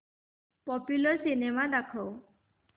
popular cinema दाखव